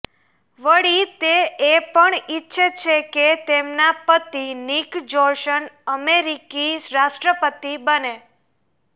વળી તે એ પણ ઈચ્છે છે કે તેમના પતિ નિક જોનસ અમેરિકી રાષ્ટ્રપતિ બને